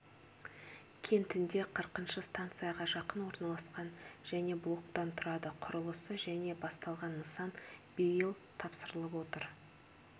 кентінде қырқыншы станцияға жақын орналасқан және блоктан тұрады құрылысы жылы басталған нысан биыл тапсырылып отыр